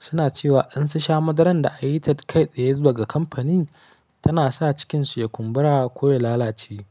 suna cewa in sun sha madaran da anyi ta kai tsaye daga kamfanin tana sa cikinsu ya kumbura ko ya lalace.